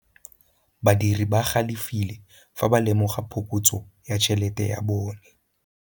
Badiri ba galefile fa ba lemoga phokotsô ya tšhelête ya bone.